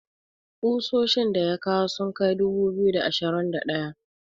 kusoshin da ya kawo sun Kai dubu biyu da ashirin da daya